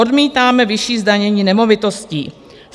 Odmítáme vyšší zdanění nemovitostí.